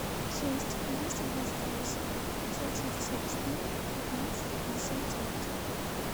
шесть двести двадцать восемь пятьсот шестьдесят четыре пятнадцать пятьдесят девять